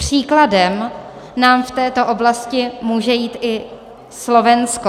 Příkladem nám v této oblasti může jít i Slovensko.